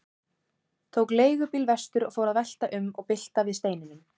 Tók leigubíl vestur og fór að velta um og bylta við steinum.